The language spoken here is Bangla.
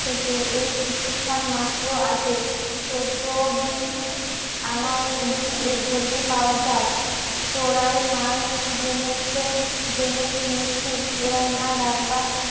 কাছ থেকে এই কিছুক্ষণ মাত্র আগে চোদ্দ দিন আনা এর ঘটি পাওয়া যায়. চোরাই মাল জেনে চিনেছিস চোরাই মাল